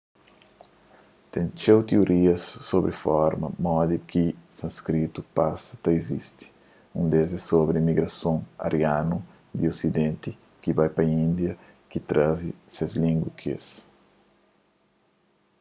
ten txeu tiorias sobri forma modi ki sanskritu pasa ta izisti un des é sobri un migrason arianu di osidenti ki bai pa índia ki traze ses língua ku es